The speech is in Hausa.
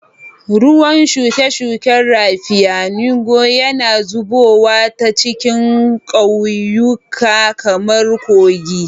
Ruwan shuke-shuken raffia, ngwo, yana zubowa ta cikin ƙauyuka kamar kogi.